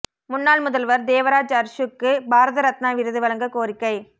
முன்னாள் முதல்வா் தேவராஜ் அா்ஸுக்கு பாரத ரத்னா விருது வழங்கக் கோரிக்கை